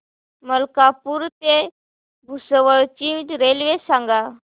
मलकापूर ते भुसावळ ची रेल्वे सांगा